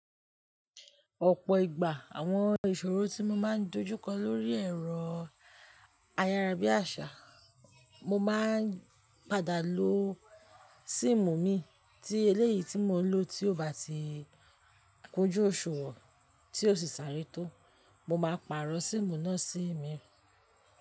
Ọ̀pọ̀ ìgbà, àwọn ìṣòro tí mo máa ń dojú kọ lórí ẹ̀rọ ayárabíàṣá, mo máa ń padà lo síìmù mi. Tí eléyìí tí mo n lò tí ò bá ti kunjú òṣùwọ̀n tí ó sì sáré tó, mo máa pàrọ̀ síìmù náà sí mi.